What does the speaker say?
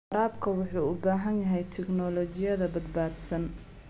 Waraabka wuxuu u baahan yahay tignoolajiyada badbaadsan.